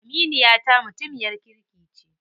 Aminiyata mutumiyar kirki ce.